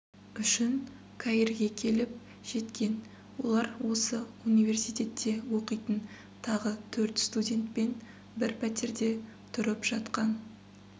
үшін каирге келіп жеткен олар осы университетте оқитын тағы төрт студентпен бір пәтерде тұрып жатқан